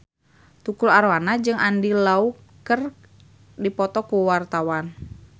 Tukul Arwana jeung Andy Lau keur dipoto ku wartawan